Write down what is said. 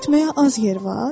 Getməyə az yer var?